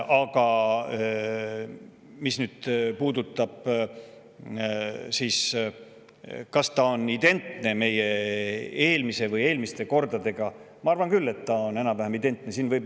Aga mis puudutab seda, kas ta on identne meie eelmise korra või eelmiste kordade, siis ma arvan küll, et ta on enam-vähem identne.